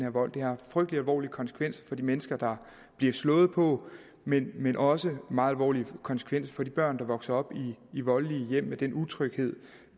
her vold det har frygtelig alvorlige konsekvenser for de mennesker der bliver slået på men men også meget alvorlige konsekvenser for de børn der vokser op i voldelige hjem med den utryghed